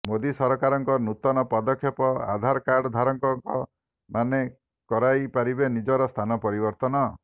ମୋଦି ସରକାରଙ୍କ ନୂତନ ପଦକ୍ଷେପ ଆଧାରକାର୍ଡ ଧାରକଙ୍କ ମାନେ କରାଇ ପାରିବେ ନିଜର ସ୍ଥାନ ପରିବର୍ତ୍ତନ